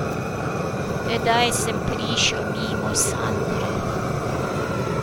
Tedaj sem prišel mimo Sandre.